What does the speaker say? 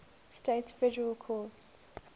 states federal courts